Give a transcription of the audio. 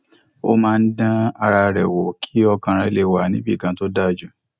ó máa ń dán ara rẹ wò kí ọkàn rè le wà níbì kan tó dájú